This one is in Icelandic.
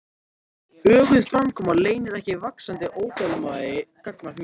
Öguð framkoma leynir ekki vaxandi óþolinmæði gagnvart mér.